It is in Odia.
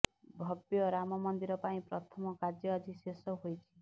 ଭବ୍ୟ ରାମ ମନ୍ଦିର ପାଇଁ ପ୍ରଥମ କାର୍ଯ୍ୟ ଆଜି ଶେଷ ହୋଇଛି